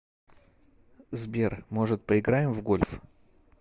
сбер может поиграем в гольф